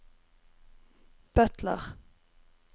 butler